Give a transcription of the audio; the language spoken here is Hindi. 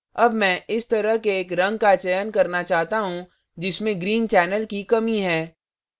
अब मैं इस तरह के एक रंग का चयन करना चाहता हूँ जिसमें green channel की कमी है